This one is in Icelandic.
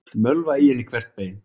Mölva í henni hvert bein.